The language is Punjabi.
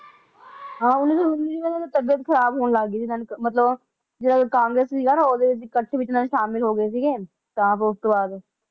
ਹਾਂ ਉੱਨੀ ਸੌ ਨੂੰ ਦੀ ਤਬੀਯਤ ਖਰਾਬ ਹੋਣ ਲੱਗ ਗਈ ਸੀ ਮਤਲਬ ਕਿ ਜਿਹੜਾ ਸੀਗਾ ਨਾ ਓਹਨਾ ਦੇ ਕਥਾ ਵਿਚ ਮਤਲਬ ਸ਼ਾਮਲ ਹੋ ਗਏ ਸੀਗੇ ਤਾਂ ਬਸ ਉਸ ਤੋਂ ਬਾਅਦ